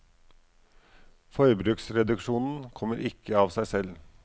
Forbruksreduksjonen kommer ikke av seg selv.